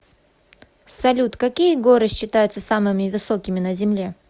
салют какие горы считаются самыми высокими на земле